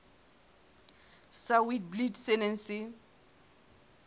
sa witblits se neng se